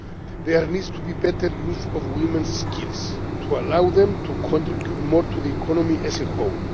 There needs to be better use of women's skills to allow them to contribute more to the economy as a whole.